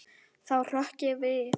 Þá hrökk ég við.